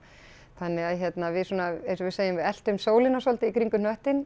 þannig að við svona eins og við segjum við eltum sólina svolítið í kringum hnöttinn